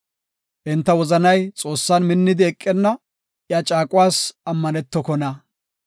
Enta wozanay Xoossan minnidi eqenna; iya caaquwas ammanetokona.